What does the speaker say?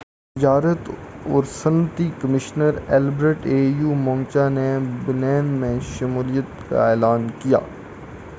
au تجارت اور صنعتی کمیشنر البرٹ موچانگا نے بینن کی شمولیت کا اعلان کیا تھا